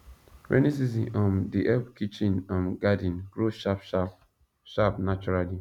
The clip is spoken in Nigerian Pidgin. rainy season um dey help kitchen um garden grow sharp sharp sharp naturally